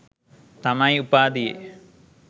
තමයි උපාධියේ